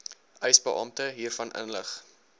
eisebeampte hiervan inlig